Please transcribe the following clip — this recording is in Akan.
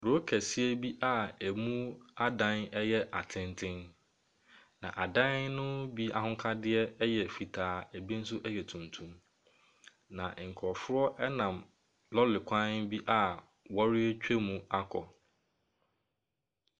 Kuro kɛseɛ bi a ɛmu adan yɛ atenten, na adan no bi ahokadeɛ yɛ fitaa, ebi nso yɛ tuntum, na nkurɔfoɔ nam lɔre kwan bi a wɔretwam akɔ.